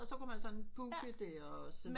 Så kunne man sådan booke det og sådan